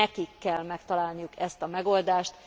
Nekik kell megtalálni ezt a megoldást!